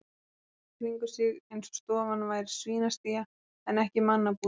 Hann leit í kringum sig eins og stofan væri svínastía en ekki mannabústaður.